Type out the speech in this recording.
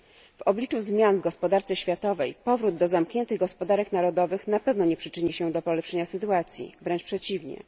W obliczu zmian w gospodarce światowej powrót do zamkniętych gospodarek narodowych na pewno nie przyczyni się do polepszenia sytuacji, wręcz przeciwnie.